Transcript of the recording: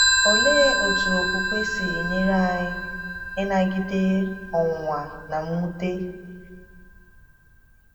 Olee otú okwukwe si enyere anyị ịnagide ọnwụnwa na mwute?